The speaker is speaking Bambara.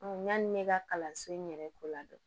yanni ne ka kalanso in yɛrɛ ko la dɔn